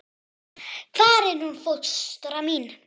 Hvar er hún fóstra mín?